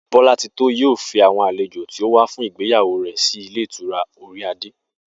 Bó̩látitó yóò fi àwo̩n àlejò tí ó wá fún ìgbéyàwó rè̩ sílé ìtura Orí adé